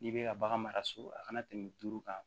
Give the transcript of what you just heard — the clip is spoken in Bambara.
N'i bɛ ka bagan mara so a kana tɛmɛ duuru kan